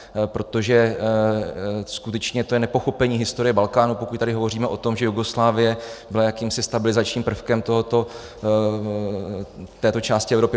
Protože skutečně to je nepochopení historie Balkánu, pokud tady hovoříme o tom, že Jugoslávie byla jakýmsi stabilizačním prvkem této části Evropy.